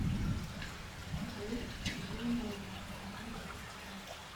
рэй донован одиннадцатый сезон